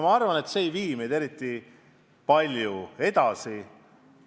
Ma arvan, et see ei vii meid eriti palju edasi.